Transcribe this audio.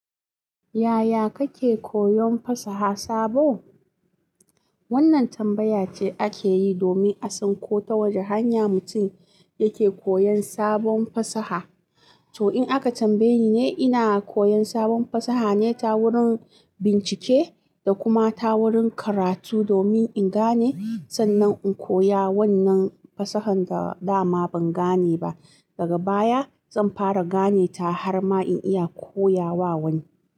Yaya kake koyon fasaha sabo? Wannan tambaya ce ake yi domin a san ko ta wace hanya mutum yake koyon sabon fasaha. To in aka tambaye ni, ina koyan sabon fasaha ne ta wurin bincike da kuma ta wurin karatu domin in gane sannan in koya wannan fasahan da da ma ban gane ba. Daga baya zan fara gane ta har ma in iya koya wa wani.